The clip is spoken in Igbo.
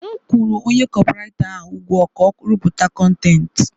M kwụrụ onye kopị writa ahụ ụgwọ ka ọ rụpụta kọntentị.